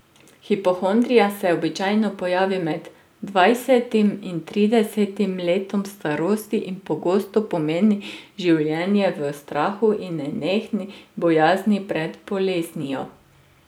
Hipohondrija se običajno pojavi med dvajsetim in tridesetim letom starosti in pogosto pomeni življenje v strahu in nenehni bojazni pred boleznijo.